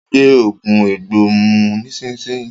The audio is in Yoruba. Gbé oògùn egbò mu nísìsiyìí!